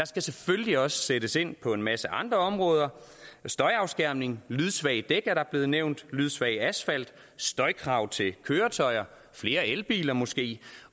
skal selvfølgelig også sættes ind på en masse andre områder støjafskærmning lydsvage dæk er blevet nævnt lydsvag asfalt støjkrav til køretøjerne flere elbiler måske